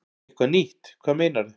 Eitthvað nýtt, hvað meinarðu?